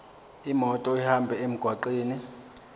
imoto ihambe emgwaqweni